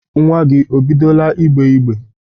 Nwa gị, o bidola ịgbe igbe?